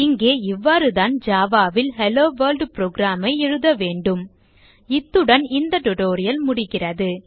இங்கே இவ்வாறுதான் java ல் ஹெல்லோவொர்ல்ட் program ஐ எழுத வேண்டும் இத்துடன் இந்த டியூட்டோரியல் முடிகிறது